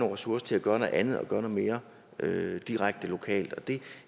ressourcer til at gøre noget andet og gøre noget mere direkte lokalt og det